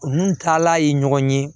N'u taala ye ɲɔgɔn ye